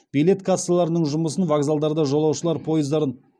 билет кассаларының жұмысын вокзалдарда жолаушылар пойыздарын